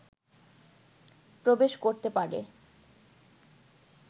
প্রবেশ করতে পারে